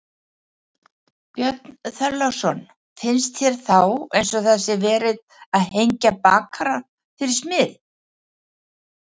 Björn Þorláksson: Finnst þér þá eins og það sé verið að hengja bakara fyrir smið?